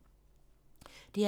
DR P2